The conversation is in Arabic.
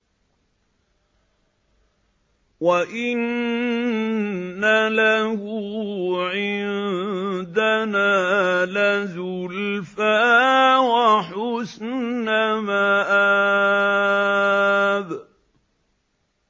وَإِنَّ لَهُ عِندَنَا لَزُلْفَىٰ وَحُسْنَ مَآبٍ